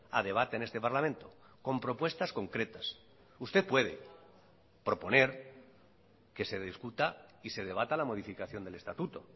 a debate en este parlamento con propuestas concretas usted puede proponer que se discuta y se debata la modificación del estatuto